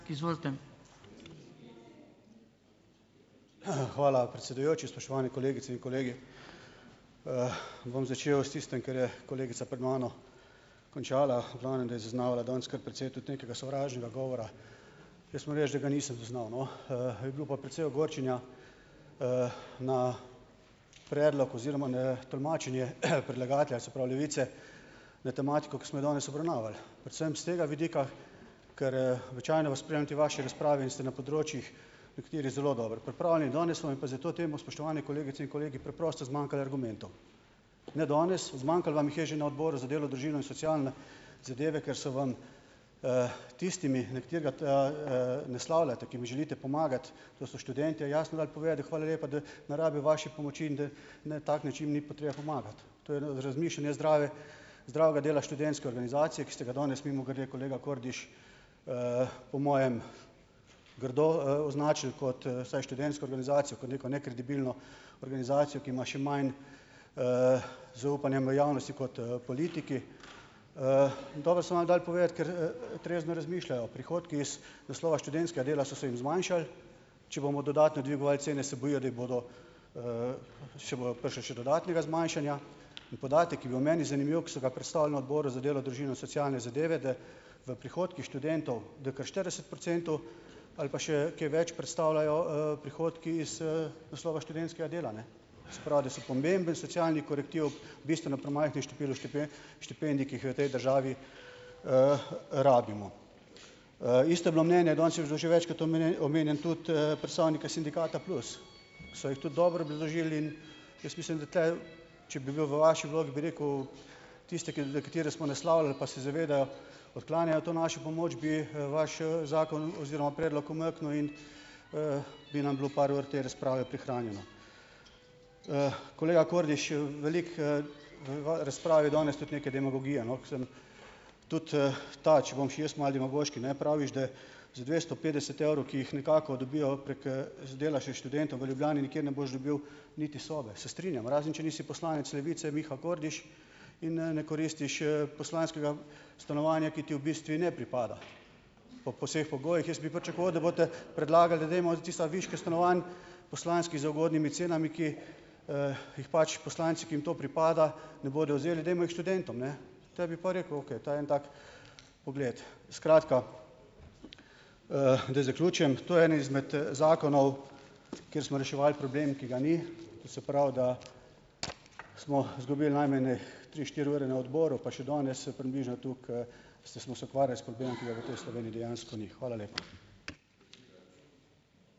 Hvala, predsedujoči. Spoštovane kolegice in kolegi! Bom začel s tistim, kar je kolegica pred mano končala. V glavnem, da je zaznavala danes kar precej tudi nekega sovražnega govora. Jaz moram reči, da ga nisem zaznal, no. Je bilo pa precej ogorčenja na predlog oziroma na tolmačenje predlagatelja, se pravi Levice, na tematiko, ki smo jo danes obravnavali. Predvsem s tega vidika, kar, običajno vas spremljam tej vaši razpravi in ste na področjih nekateri zelo dobro pripravljeni, danes vam je pa za to temo, spoštovane kolegice in kolegi, preprosto zmanjkalo argumentov. Ne danes, zmanjkalo vam jih je že na Odboru za delo, družino in socialne zadeve, ker so vam tistim, na katerega ta, naslavljate, ki jim želite pomagati, to so študentje, jasno dali povedati, da hvala lepa, da ne rabijo vaše pomoči in da na tak način ni potrebe pomagati. To je razmišljanje zdrave zdravega dela študentske organizacije, ki ste ga danes mimogrede, kolega Kordiš, po mojem grdo, označili, kot saj študentsko organizacijo kot neko nekredibilno organizacijo, ki ima še manj zaupanja v javnosti kot, politiki. In to da so vam dali povedati, ker, trezno razmišljajo. Prihodki iz naslova študentskega dela so se jim zmanjšali. Če bomo dodatno dvigovali cene, se bojijo, da ji bodo še bo prišli še dodatnega zmanjšanja. In podatek, ki bil meni zanimiv, ko so ga predstavili na Odboru za delo, družino in socialne zadeve, da v prihodkih študentov, da je kar štirideset procentov ali pa še kaj več predstavljajo, prihodki iz, naslova študentskega dela, ne. Se pravi, da so pomemben socialni korektiv bistveno premajhnemu številu štipendij, ki jih v tej državi rabimo. Isto je bilo mnenje, danes je bilo že večkrat omenjen omenjen, tudi, predstavniki sindikata Plus, so jih tudi dobro obrazložili in jaz mislim, da te, če bi bil v vaši vlogi, bi rekel: "Tiste, ki katere smo naslavljali, pa se zavedajo, odklanjajo to našo pomoč." Bi vaš zakon oziroma predlog umaknil in, bi nam bilo par ur te razprave prihranjeno. Kolega Kordiš, veliko, v razpravi je danes tudi nekaj demagogije, no, ko sem tudi, ta, če bom še jaz malo demagoški, ne. Praviš, da za dvesto petdeset evrov, ki jih nekako dobijo prek, dela še študentov, v Ljubljani nikjer ne boš dobil niti sobe, se strinjam, razen če nisi poslanec Levice Miha Kordiš in ne koristiš, poslanskega stanovanja, ki ti v bistvu ne pripada po po vseh pogojih. Jaz bi pričakoval, da boste predlagali, da dajmo tiste viške stanovanj poslanskih z ugodnimi cenami, ki jih pač poslanci, ki jim to pripada, ne bodo vzeli, dajmo jih študentom, ne. Potem bi pa rekel, okej, ta en tak pogled. Skratka, da zaključim, to je en izmed zakonov, kjer smo reševali problem, ki ga ni. To se pravi, da smo izgubili najmanj tri, štiri ure na odboru, pa še danes približno toliko, ste, smo se ukvarjali s problemom, ki ga v tej Sloveniji dejansko ni. Hvala lepa.